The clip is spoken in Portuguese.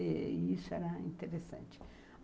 E isso era interessante.